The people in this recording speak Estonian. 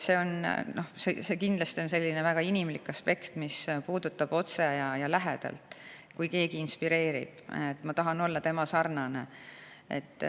See on väga inimlik aspekt, mis puudutab otse ja lähedalt, kui keegi mind inspireerib ja ma tahan olla tema sarnane.